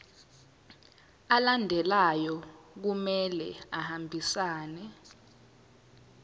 alandelayo kumele ahambisane